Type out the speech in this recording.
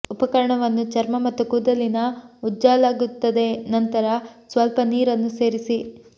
ಉಪಕರಣವನ್ನು ಚರ್ಮ ಮತ್ತು ಕೂದಲಿನ ಉಜ್ಜಲಾಗುತ್ತದೆ ನಂತರ ಸ್ವಲ್ಪ ನೀರನ್ನು ಸೇರಿಸಿ